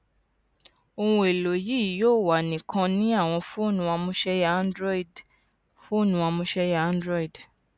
ohun elo yii yoo wa nikan ni awọn foonu amuseya android foonu amuseya android